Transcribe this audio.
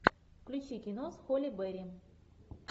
включи кино с холли берри